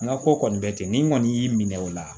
N ka ko kɔni bɛ ten ni n kɔni y'i minɛ o la